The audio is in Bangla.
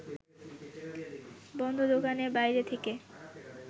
বন্ধ দোকানের বাইরে থেকে